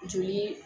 Joli